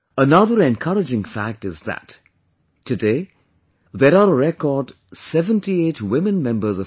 Another encouraging fact is that, today, there are a record 78 women Members of Parliament